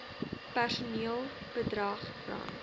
personeel bedrag rand